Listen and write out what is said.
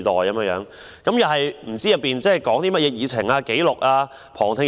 我們不清楚其會議議程、會議紀錄、旁聽安排。